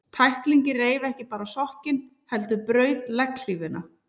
Tæklingin reif ekki bara sokkinn, heldur braut legghlífina.